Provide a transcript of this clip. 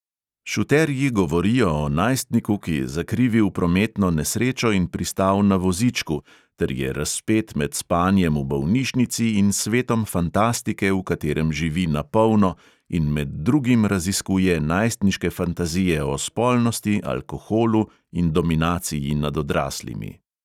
Šuterji govorijo o najstniku, ki je zakrivil prometno nesrečo in pristal na vozičku ter je razpet med spanjem v bolnišnici in svetom fantastike, v katerem živi "na polno" in med drugim raziskuje najstniške fantazije o spolnosti, alkoholu in dominaciji nad odraslimi.